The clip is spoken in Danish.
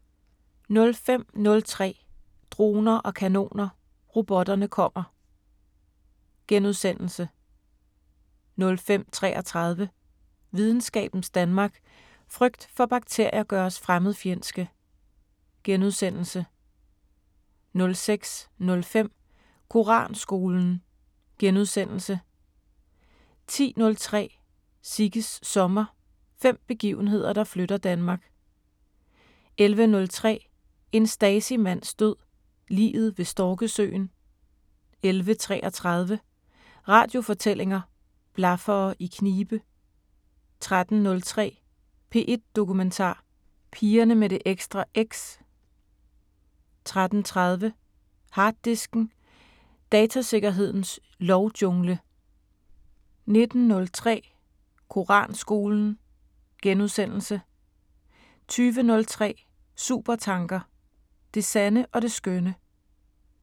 05:03: Droner og kanoner: Robotterne kommer * 05:33: Videnskabens Verden: Frygt for bakterier gør os fremmedfjendske * 06:05: Koranskolen * 10:03: Sigges sommer – fem begivenheder, der flytter Danmark 11:03: En Stasi-mands død: Liget ved Storkesøen 11:33: Radiofortællinger: Blaffere i knibe 13:03: P1 Dokumentar: Pigerne med det ekstra X 13:30: Harddisken: Datasikkerhedens lovjungle 19:03: Koranskolen * 20:03: Supertanker: Det sande og det skønne